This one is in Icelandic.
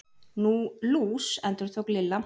Nú, lús. endurtók Lilla.